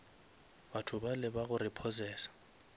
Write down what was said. batho bale ba go repossesa